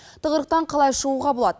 тығырықтан қалай шығуға болады